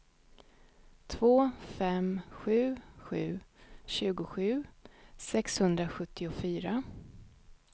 två fem sju sju tjugosju sexhundrasjuttiofyra